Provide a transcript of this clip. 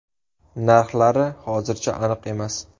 Narxlari hozircha aniq emas.